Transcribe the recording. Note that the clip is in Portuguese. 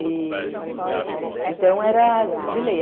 E... Então, era de lei.